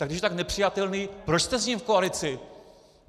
Tak když je tak nepřijatelný, proč jste s ním v koalici?